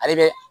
Ale bɛ